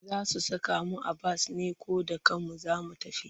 Za su saka mu a bas ne ko da kanmu za mu tafi?